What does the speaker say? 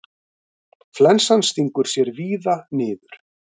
Flensan stingur sér víða niður.